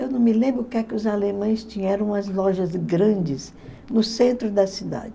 Eu não me lembro o que é que os alemães tinham, eram umas lojas grandes no centro da cidade.